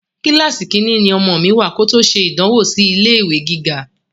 Kíláàsì Kínní ni ọmọ mi wá kòtò ṣe ìdánwò sì ilé ìwé gíga